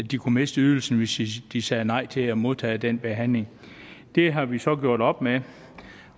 de kunne miste ydelsen hvis de sagde nej til at modtage den behandling det har vi så gjort op med